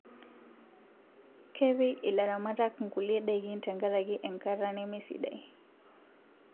Kepik ilaramatak nkulie dakin tenkarakii enkata nemesidai